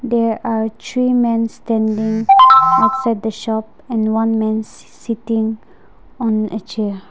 there are three men standing outside the shop and one men si sitting on chair.